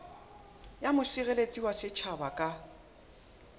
ya mosireletsi wa setjhaba ka